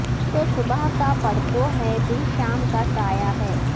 تو صبح کا پرتو ہے دل شام کا سایہ ہے